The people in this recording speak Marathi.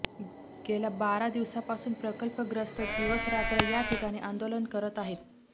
गेल्या बारा दिवसापासून प्रकल्पग्रस्त दिवसरात्र याठिकाणी आंदोलन करत आहेत